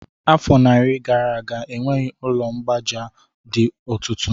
Afọ narị gara aga, enweghị ụlọ mgbaaja dị otutu